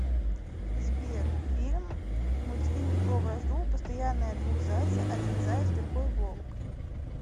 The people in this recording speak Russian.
сбер фильм мультфильм про вражду постоянная двух зайца один заяц другой волк